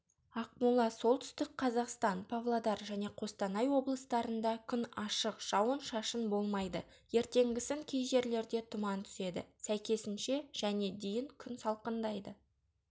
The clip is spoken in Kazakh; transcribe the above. ақмола солтүстік қазақстан павлодар және қостанай облыстарында күн ашық жауын-шашын болмайды ертеңгісін кей жерлерде тұман түседі сәйкесінше және дейін күн салқындайды